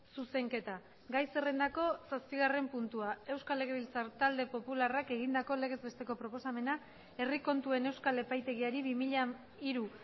zuzenketa gai zerrendako zazpigarren puntua euskal legebiltzar talde popularrak egindako legez besteko proposamena herri kontuen euskal epaitegiari bi mila hiru